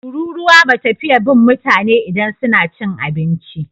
Tururuwa ba ta fiye bin mutane idan suna cin abinci.